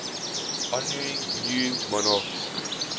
honouring new monarchs